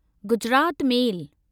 Gujarat मेल